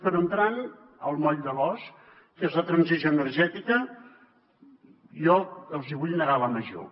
però entrant al moll de l’os que és la transició energètica jo els hi vull negar la major